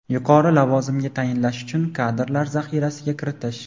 yuqori lavozimga tayinlash uchun kadrlar zaxirasiga kiritish;.